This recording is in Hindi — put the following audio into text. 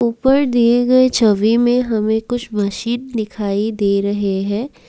ऊपर दिए गए छवि में हमें कुछ मशीन दिखाई दे रही हैं।